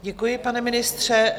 Děkuji, pane ministře.